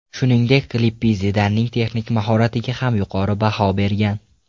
Shuningdek Lippi Zidanning texnik mahoratiga ham yuqori baho bergan.